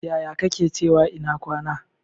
Yaya kake cewa ina kwana?